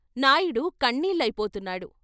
Naidu కన్నీళ్ళయిపోతున్నాడు.